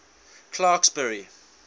clarksburry